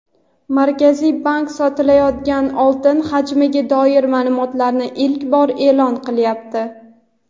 Markaziy bank sotilayotgan oltin hajmiga doir ma’lumotlarni ilk bor e’lon qilyapti.